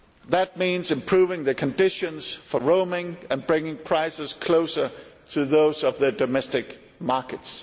That means improving the conditions for roaming and bringing prices closer to those of the domestic markets.